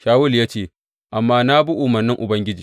Shawulu ya ce, Amma na bi umarnin Ubangiji.